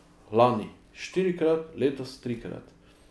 Lani štirikrat, letos trikrat.